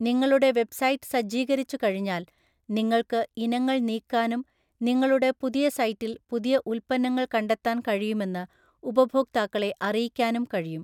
നിങ്ങളുടെ വെബ്‌സൈറ്റ് സജ്ജീകരിച്ചുകഴിഞ്ഞാൽ, നിങ്ങൾക്ക് ഇനങ്ങൾ നീക്കാനും നിങ്ങളുടെ പുതിയ സൈറ്റിൽ പുതിയ ഉൽപ്പന്നങ്ങൾ കണ്ടെത്താൻ കഴിയുമെന്ന് ഉപഭോക്താക്കളെ അറിയിക്കാനും കഴിയും.